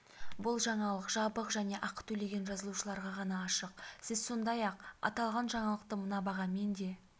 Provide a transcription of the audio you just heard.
бұл жаңалық жабық және ақы төлеген жазылушыларға ғана ашық сіз сондай-ақ аталған жаңалықты мына бағамен де